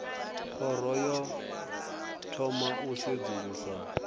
khoro yo thoma u sedzulusa